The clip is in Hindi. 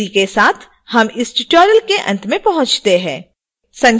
इसी के साथ हम tutorial के अंत में पहुँचते हैं